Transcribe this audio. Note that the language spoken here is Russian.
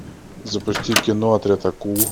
запусти кино отряд акул